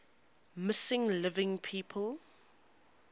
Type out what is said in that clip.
missing living people